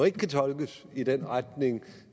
ikke kan tolkes i den retning